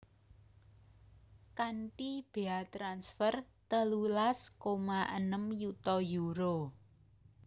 Kanthi béa transfer telulas koma enem yuta euro